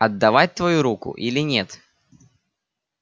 отдавать твою руку или нет